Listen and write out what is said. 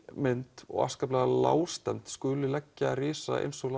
mynd og afskaplega lágstemmd skuli leggja risa eins og